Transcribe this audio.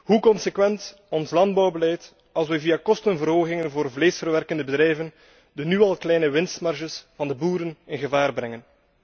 Hoe consequent is ons landbouwbeleid als we via kostenverhogingen voor vleesverwerkende bedrijven de nu al kleine winstmarges van de boeren in gevaar brengen?